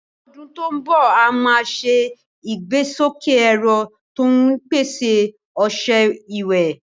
Ní ọdún tó ń bọ̀, a máa ṣe ìgbésókè ẹ̀rọ tó ń pèsè ọṣẹ ìwẹ̀.